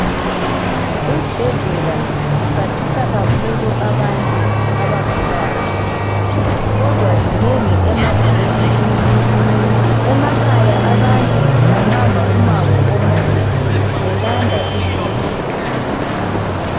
Izibhedlela ziphathisa kakhulu abantu abagulayo. Kodwa zinengi emadolobheni. Emakhaya abantu bahamba umango omude belanda izibhedlela.